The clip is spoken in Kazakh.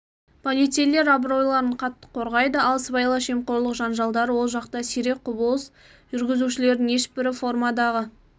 полицейлер абыройларын қатты қорғайды ал сыбайлас жемқорлық жанжалдары ол жақта сирек құбылыс жүргізушілердің ешбірі формадағы